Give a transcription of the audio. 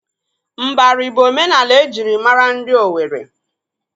Mbari bụ omenala ejịrị maara ndị Owere.